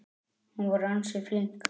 Hún var ansi flink.